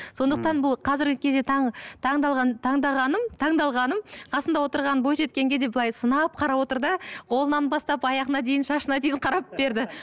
сондықтан бұл қазіргі кезде таңғалғаным қасындағы отырған бойжеткенге де былай сынап қарап отыр да қолынан бастап аяғына дейін шашына дейін қарап берді